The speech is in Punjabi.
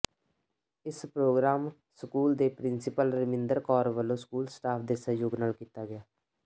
ਇਸ programme school principal Raminder Kaur ਵੱਲੋਂ ਸਕੂਲ ਸਟਾਫ ਦੇ ਸਹਿਯੋਗ ਨਾਲ ਕੀਤਾ ਗਿਆ